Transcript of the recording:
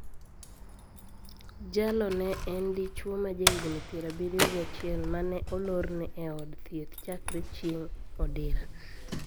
Jalo ne en dichwo ma ja higni pier abiriyo gi achiel ma ne olorne e od thieth chakre chieng` odira